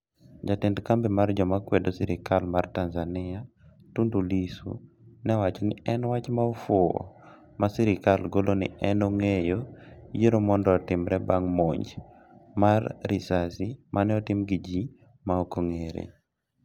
jatend kambi mar joma kwedo sirikal mar Tanzania, Tundu Lissu ne owacho ni en wach ma ofuwo ma sirikal golo ni en ogeng'o yiero mondo otimre bang monj mar risasi mane otim gi ji maokong'ere